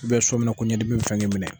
i sɔnmina ko ɲɛdimi bi fɛ k'i minɛ.